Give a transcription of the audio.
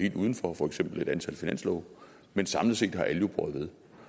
udenfor for eksempel et antal finanslove men samlet set har alle jo båret ved